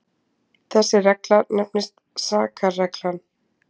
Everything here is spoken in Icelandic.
Þessi regla nefnist sakarreglan.